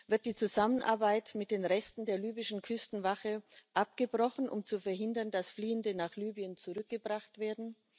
Wird die Zusammenarbeit mit den Resten der libyschen Küstenwache abgebrochen, um zu verhindern, dass Fliehende nach Libyen zurückgebracht werden?